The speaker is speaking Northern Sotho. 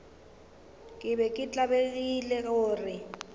ke be ke tlabegile gore